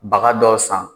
Baga dɔw san